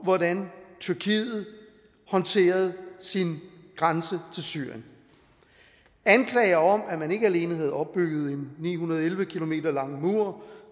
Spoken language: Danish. hvordan tyrkiet håndterede sin grænse til syrien anklager om at man ikke alene havde opbygget en ni hundrede og elleve km lang og